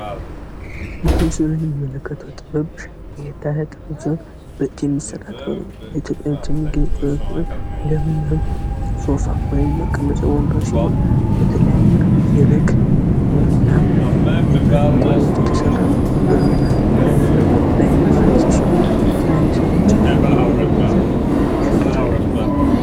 በሙስሊም ላይ የምንመለከተው ጥበብ የኢትዮጵያ ባህላዊ ሲሆን በእጄ የሚሠራ ጥበብ ነው መቀመጫ ወንበሩ ወይም ሶፋ ሲሆን በተለያዩ የበግ ቆዳዎች የላምና የበሬ ቆዳዎች የተሰራው ወንበሩ ነው። ለአይን በጣም ማራኪ ሲሆን የተለያዩ ሰዎች በመውሰድ ይሸጡታል።